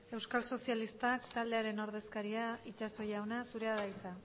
euskal sozialistak taldearen ordezkaria itxaso jauna zurea da hitza